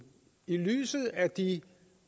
i lyset af de